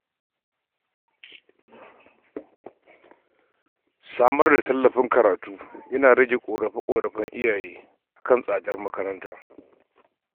Samar da tallafin karatu yana rage yawan ƙorafin iyaye kan tsadar makaranta.